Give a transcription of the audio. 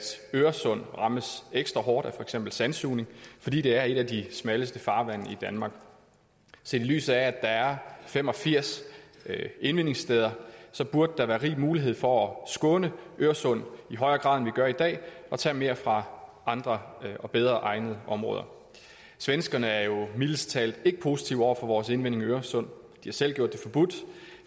øresund rammes ekstra hårdt af for eksempel sandsugning fordi det er et af de smalleste farvande i danmark set i lyset af at der er fem og firs indvindingssteder burde der være rig mulighed for at skåne øresund i højere grad end vi gør i dag og tage mere fra andre bedre egnede områder svenskerne er jo mildest talt ikke positive over for vores indvinding i øresund har selv gjort det forbudt